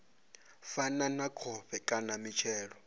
fana na khovhe kana mitshelo